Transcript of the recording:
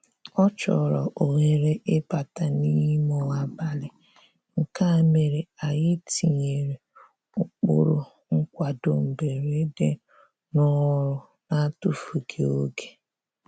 Ọ chọrọ ohere ịbata n'ime abalị, nke a mere anyị tinyere ụkpụrụ nkwado mberede n'ọrụ na-atụfughị oge